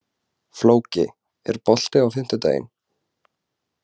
Flóki, er bolti á fimmtudaginn?